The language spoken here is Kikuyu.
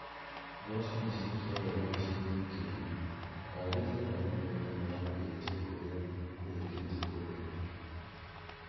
Mboco nĩciekire wega gĩcigo-inĩ kĩu. Uharĩria wa mĩgunda nĩwambĩtie kũrĩa kũrĩkĩtie kũgethwo